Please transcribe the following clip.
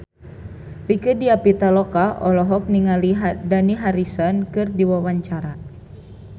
Rieke Diah Pitaloka olohok ningali Dani Harrison keur diwawancara